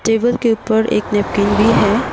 Table के ऊपर एक नैपकिन भी है।